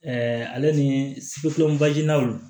Ɛɛ ale ni